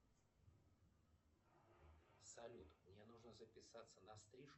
салют мне нужно записаться на стрижку